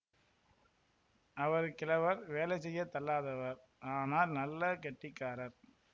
அவர் கிழவர் வேலை செய்ய தள்ளாதவர் ஆனால் நல்ல கெட்டிக்காரர்